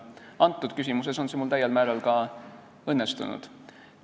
Antud küsimuses on see mul täiel määral ka õnnestunud.